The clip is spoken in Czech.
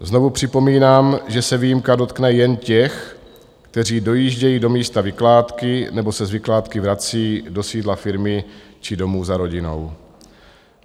Znovu připomínám, že se výjimka dotkne jen těch, kteří dojíždějí do místa vykládky nebo se z vykládky vrací do sídla firmy či domů za rodinou.